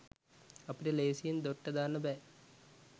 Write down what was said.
අපිට ‍ලේසියෙන් දොට්ට දාන්න බෑ.